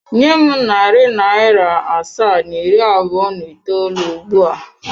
Nye m narị naịra asaa na iri abụọ na itoolu ugbu a!